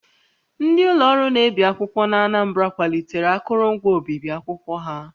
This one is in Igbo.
Ndị ụlọ ọrụ na-ebi akwụkwọ n'Anambra kwalitere akụrụngwa obibi akwụkwọ ha